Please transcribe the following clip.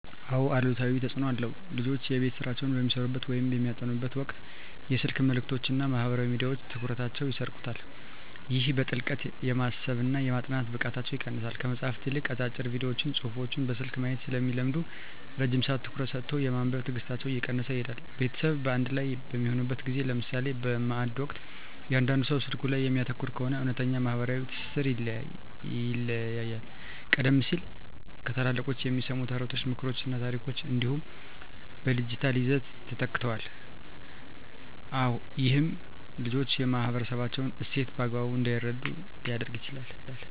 አዎ አሉታዊ ተፅኖ አለው። ልጆች የቤት ሥራቸውን በሚሠሩበት ወይም በሚያጠኑበት ወቅት የስልክ መልእክቶችና ማኅበራዊ ሚዲያዎች ትኩረታቸውን ይሰርቁታል። ይህም በጥልቀት የማሰብና የማጥናት ብቃታቸውን ይቀንሰዋል። ከመጽሐፍት ይልቅ አጫጭር ቪዲዮዎችንና ጽሑፎችን በስልክ ማየት ስለሚለምዱ፣ ረጅም ሰዓት ትኩረት ሰጥቶ የማንበብ ትዕግሥታቸው እየቀነሰ ይሄዳል። ቤተሰብ በአንድ ላይ በሚሆንበት ጊዜ (ለምሳሌ በማዕድ ወቅት) እያንዳንዱ ሰው ስልኩ ላይ የሚያተኩር ከሆነ፣ እውነተኛው ማኅበራዊ ትስስር ይላላል። ቀደም ሲል ከታላላቆች የሚሰሙ ተረቶች፣ ምክሮችና ታሪኮች አሁን በዲጂታል ይዘቶች ተተክተዋል። ይህም ልጆች የማኅበረሰባቸውን እሴት በአግባቡ እንዳይረዱ ሊያደርግ ይችላል።